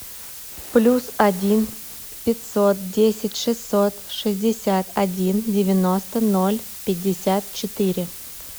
плюс один пятьсот десять шестьсот шестьдесят один девяносто ноль пятьдесят четыре